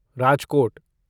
Rajkot